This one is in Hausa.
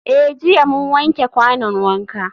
Eh jiya mun wanke kwanon wanka.